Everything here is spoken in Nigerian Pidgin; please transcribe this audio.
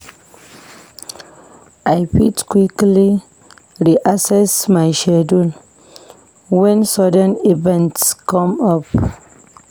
I fit quickly reassess my schedule when sudden events come up.